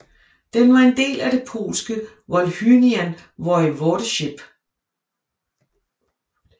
Den var en del af det polske Volhynian Voivodeship